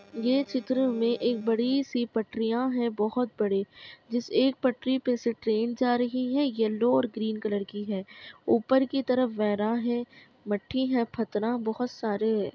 ये चित्र में एक बड़ी सी पटरियां हैं बहोत बड़ी जिस एक पटरी पे से ट्रैन जा रही है यल्लो और ग्रीन कलर की है ऊपर की तरफ वेरा है मट्टी है बहोत सारे --